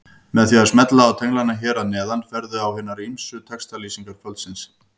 Með því að smella á tenglana hér að neðan ferðu í hinar textalýsingar kvöldsins.